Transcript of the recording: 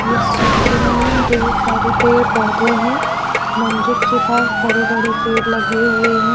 इस चित्र में ढेर सारे पेड़ पौधे हैं मंदिर के पास बड़े बड़े पेड़ लगे हुए हैं।